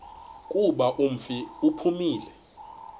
kuba umfi uphumile